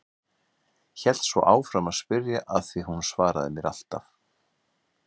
Hélt svo áfram að spyrja af því að hún svaraði mér alltaf.